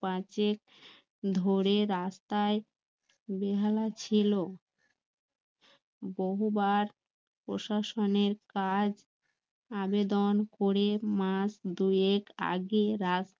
পাঁচেক ধরে রাস্তায় বেহালা ছিল বহুবার প্রশাসনের কাজ আবেদন করে মাস দুয়েক আগে রাস্তা